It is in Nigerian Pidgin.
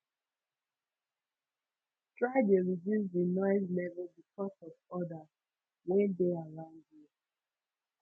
try de reduce di noise level bcos of odas wey de around you